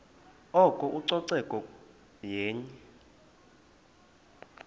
oko ucoceko yenye